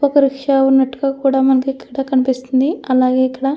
ఒక రిక్షా ఉన్నట్టుగా కూడా మనకి ఇక్కడ కనిపిస్తుంది. అలాగే ఇక్కడ --